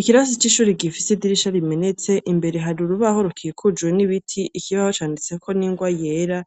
Ikirasi c'ishuri gifise idirisha rimenetse imbere hari urubaho rukikujuwe n'ibiti ikibaho canditseko n'ingwa yera